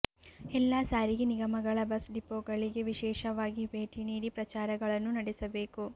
ಎಲ್ಲಾ ಸಾರಿಗೆ ನಿಗಮಗಳ ಬಸ್ ಡಿಪೋಗಳಿಗೆ ವಿಶೇಷವಾಗಿ ಬೇಟಿ ನೀಡಿ ಪ್ರಚಾರಗಳನ್ನು ನಡೆಸಬೇಕು